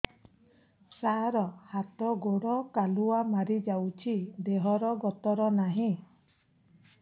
ସାର ହାତ ଗୋଡ଼ କାଲୁଆ ମାରି ଯାଉଛି ଦେହର ଗତର ନାହିଁ